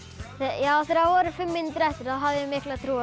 já þegar voru fimm mínútur eftir hafði ég mikla trú